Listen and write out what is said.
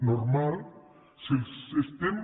normal si els estem